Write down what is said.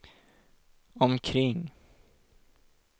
omkring